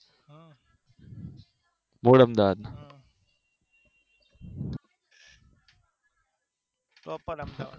proper Ahmedabad